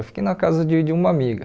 Eu fiquei na casa de de uma amiga.